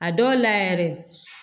A dɔw la yɛrɛ